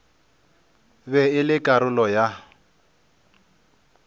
be e le karolo ya